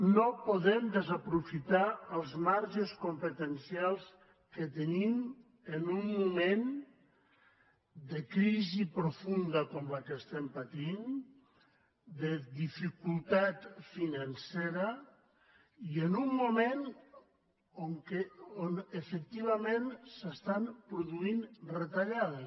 no podem desaprofitar els marges competencials que tenim en un moment de crisi profunda com la que estem patint de dificultat financera i en un moment on efectivament s’estan produint retallades